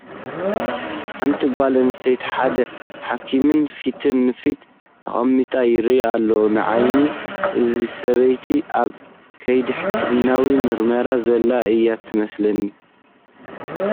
ሓንት ጓል ኣነስተይትን ሓደ ሓኪምን ፊት ንፊት ተቐሚጦም ይርአዩ ኣለዉ፡፡ ንዓይ እዛ ሰበይቲ ኣብ ከይዲ ሕክምናዊ ምርመራ ዘላ እያ ትመስለኒ፡፡